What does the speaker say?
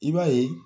I b'a ye